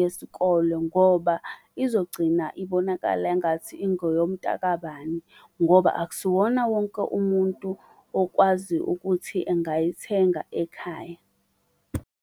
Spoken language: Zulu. yesikolo ngoba izogcina ibonakala engathi ingeyomtakabani, ngoba akusiwona wonke umuntu okwazi ukuthi engayithenga ekhaya.